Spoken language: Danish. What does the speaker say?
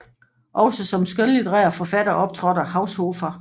Også som skønlitterær forfatter optrådte Haushofer